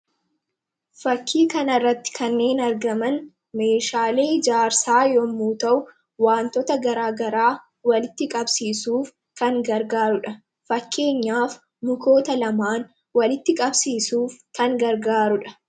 fakkii kanarratti kanneen argaman meeshaalee ijaarsaa yommuu ta'u wantota garaagaraa walitti qabsiisuuf kan gargaarudha fakkeenyaaf mukoota lamaan walitti qabsiisuuf kan gargaarudha.